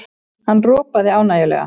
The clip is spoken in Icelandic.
Hann ropaði ánægjulega.